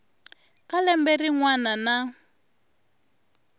ka lembe rin wana na